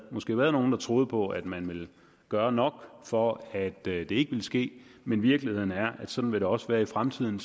måske nogle der troede på at man ville gøre nok for at det ikke ville ske men virkeligheden er at sådan vil det også være i fremtiden